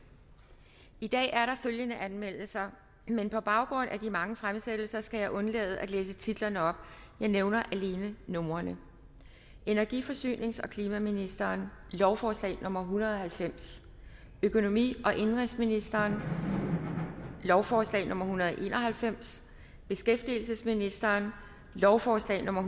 i dag er der følgende anmeldelser men på baggrund af de mange fremsættelser skal jeg undlade at læse titlerne op jeg nævner alene numrene energi forsynings og klimaministeren lovforslag nummer hundrede og halvfems økonomi og indenrigsministeren lovforslag nummer hundrede og en og halvfems beskæftigelsesministeren lovforslag nummer